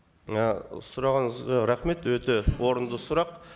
і сұрағыңызға рахмет өте орынды сұрақ